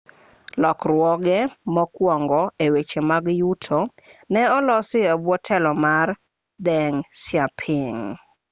lokruoge mokuongo e weche mag yuto ne olosi e bwo telo mar deng xiaoping